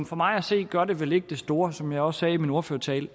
for mig at se gør det vel ikke det store som jeg også sagde i min ordførertale